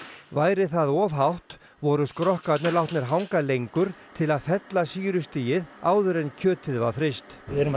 væri það of hátt voru skrokkarnir látnir hanga lengur til að fella sýrustigið áður en kjötið var fryst við erum að